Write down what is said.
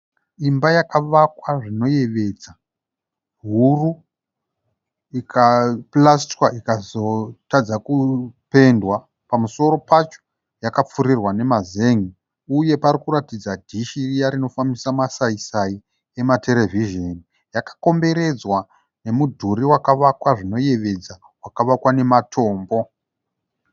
Imba yakawakwa zvinovedza huru, ikapurisitwa ikazotadzwa kupendwa. Pamusoro pacho pakapfirirwa nemazenge uye parikuradza dhishi riya rinofambisa masaisai ematerevhizheni. Yakakomboredzwa nemudhuri wakavakwa zvinoyevedza, wakavakwa nematombo.